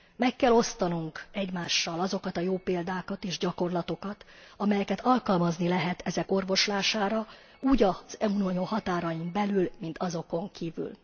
Meg kell osztanunk egymással azokat a jó példákat és gyakorlatokat, amelyeket alkalmazni lehet ezek orvoslására, úgy az Unió határain belül, mint azokon kívül.